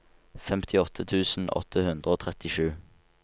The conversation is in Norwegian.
femtiåtte tusen åtte hundre og trettisju